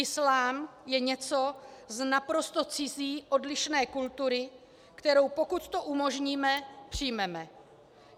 Islám je něco z naprosto cizí odlišné kultury, kterou, pokud to umožníme, přijmeme.